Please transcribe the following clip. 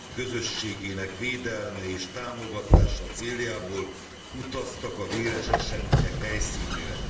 közösségének védelme és támogatása céljából utaztak a véres események helyszínére.